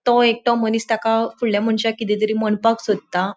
तो एकटो मनिस ताका फूडल्या मनशाक किदे तरी मणपाक सोदता.